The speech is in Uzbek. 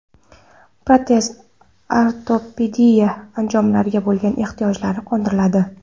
Protez-ortopediya anjomlariga bo‘lgan ehtiyojlari qondiriladi.